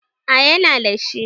A ya na dashi